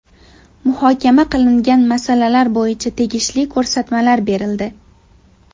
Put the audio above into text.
Muhokama qilingan masalalar bo‘yicha tegishli ko‘rsatmalar berildi.